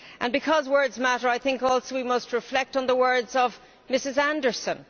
Because words matter, I think also we must reflect on the words of Ms Anderson.